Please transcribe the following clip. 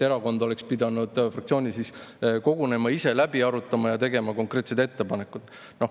Erakond oleks pidanud fraktsioonis kogunema, kõik läbi arutama ja tegema konkreetsed ettepanekud.